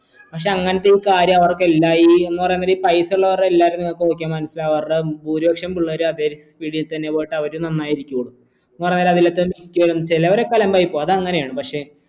പക്ഷെ അങ്ങനത്തെ ഈ കാര്യം അവർക്കെന്തായ് എന്ന് പറയുന്നരം ഈ പൈസയുള്ളവർ എല്ലാരും നോക്കിയ മനസിലാവാറുണ്ട് ഭൂരിപക്ഷം പിള്ളേരും അതെ field തന്നെ പോയിട്ട് അവരും നന്നായി ഇരിക്കും എന്ന് പറയുന്നരം അതിൽ ച്ചിലൊരൊക്കെ അലമ്പായി പോവും അത് അങ്ങനെയാണ് പക്ഷെ